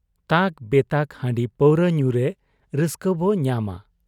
ᱛᱟᱠ ᱵᱮᱛᱟᱠ ᱦᱟᱺᱰᱤ ᱯᱟᱹᱨᱩᱣᱟᱹ ᱧᱩᱨᱮ ᱨᱟᱹᱥᱠᱟᱹᱵᱚ ᱧᱟᱢᱟ ᱾